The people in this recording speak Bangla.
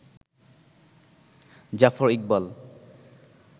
জাফর ইকবাল